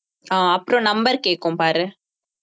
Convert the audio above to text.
ஆஹ் அப்புறம் number கேக்கும் பாரு